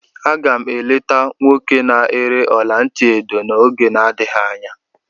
Aga m eleta nwoke na-ere ọla ntị edo n'oge na-adịghị anya.